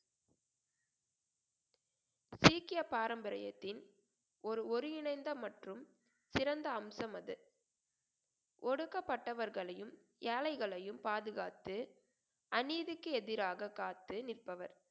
சீக்கிய பாரம்பரியத்தின் ஒரு ஒருங்கிணைந்த மற்றும் சிறந்த அம்சம் அது ஒடுக்கப்பட்டவர்களையும் ஏழைகளையும் பாதுகாத்து அநீதிக்கு எதிராக காத்து நிற்பவர்